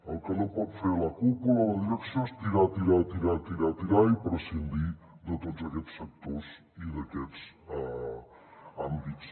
el que no pot fer la cúpula o la direcció és tirar tirar tirar tirar tirar i prescindir de tots aquests sectors i d’aquests àmbits